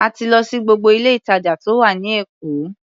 A ti lọ sí gbogbo ilé-ìtàjà tó wà ní Èkó.